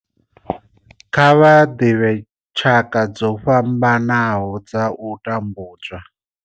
Kha vha ḓivhe tshaka dzo fhambanaho dza u tambudzwa.